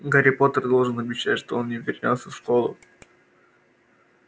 гарри поттер должен обещать что он не вернётся в школу